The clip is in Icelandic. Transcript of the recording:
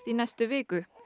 í næstu viku